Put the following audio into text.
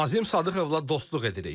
Nazim Sadıqovla dostluq edirik.